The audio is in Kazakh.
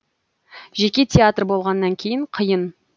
жеке театр болғаннан кейін қиын